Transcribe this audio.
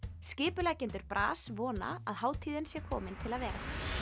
skipuleggjendur vona að hátíðin sé komin til að vera